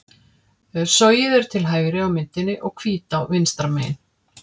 Sogið er til hægri á myndinni og Hvítá vinstra megin.